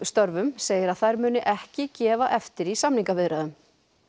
störfum segir að þær muni ekki gefa eftir í samningaviðræðum